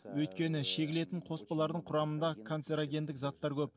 өйткені шегілетін қоспалардың құрамында консарегендік заттар көп